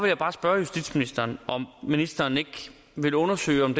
jeg bare spørge ministeren om ministeren ikke vil undersøge om